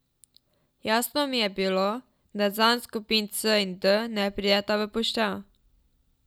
Jasno mi je bilo, da zanj skupini C in D ne prideta v poštev.